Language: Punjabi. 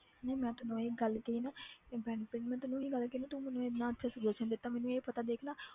ਨਹੀਂ ਮੈਂ ਤੈਨੂੰ ਇਹ ਗੱਲ ਕਹੀ ਆ ਨਾ ਇਹ benefit ਮੈਂ ਤੈਨੂੰ ਇਹੀ ਗੱਲ ਕਹੀ ਆ ਨਾ ਤੂੰ ਮੈਨੂੰ ਇੰਨਾ ਅੱਛਾ suggestion ਦਿੱਤਾ ਮੈਨੂੰ ਇਹ ਪਤਾ ਦੇਖ ਨਾ